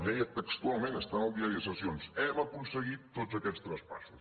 ho deia textualment està en el diari de sessions hem aconseguit tots aquests traspassos